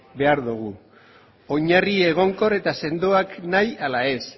behar dogu oinarri egonkor eta sendoak nahi ala ez